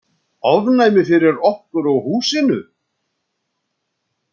Ofnæmi fyrir okkur og húsinu!